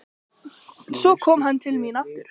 Svo kom hann til mín aftur.